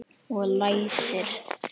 Og læsir.